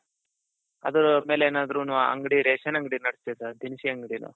other ಮೇಲೆ ಏನಾದ್ರುನು ಅಂಗಡಿ ration ಅಂಗಡಿ ದಿನಸಿ ಅಂಗಡಿನ,